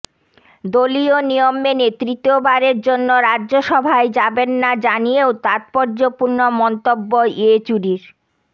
দলীয় নিয়ম মেনে তৃতীয় বারের জন্য রাজ্যসভায় যাবেন না জানিয়েও তাত্পর্যপূর্ণ মন্তব্য ইয়েচুরির